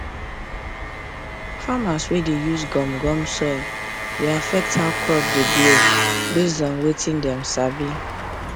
farmers wey dey use gum gum soil dey affect how crop dey grow based on wetin dem sabi